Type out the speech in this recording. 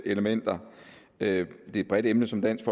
elementer det er et bredt emne som dansk